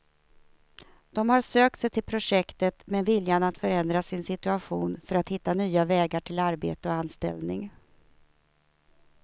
De har sökt sig till projektet med viljan att förändra sin situation för att hitta nya vägar till arbete och anställning.